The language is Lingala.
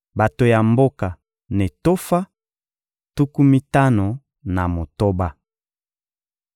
Bato ya mboka Netofa: tuku mitano na motoba.